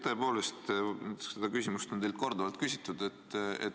Tõepoolest, seda küsimust on teilt korduvalt küsitud.